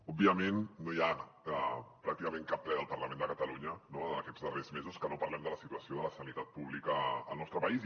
òbviament no hi ha pràcticament cap ple del parlament de catalunya en aquests darrers mesos en què no parlem de la situació de la sanitat pública al nostre país